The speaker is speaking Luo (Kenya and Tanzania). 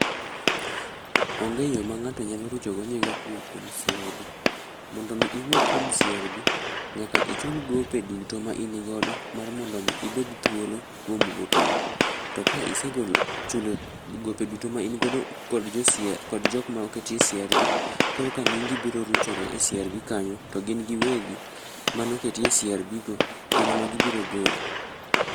Onge yoo mangato nyalo rucho go nyinge kuom CRB.Mondo mi iwuog kuom CRB nyaka ichul gope duto ma in godo mar mondo mi ibed thuolo kuom gope go .To ka isegolo, chulo gope duto ma in godo kod jo CRB,kod jokma oketi e CRB korka nyingi biro ruchore e CRB kanyo to gin giwegi manoketi e CRB go gin ema gibiro goli